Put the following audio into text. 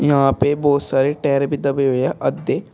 यहां पे बहुत सारे टायर भी दबे हुए हैं आधे।